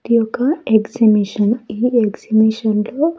ప్రతి ఒక్క ఎక్సిబిషన్ ఈ ఎక్సిబిషన్ లో.